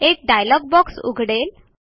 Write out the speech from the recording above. एक dialog box उघडेल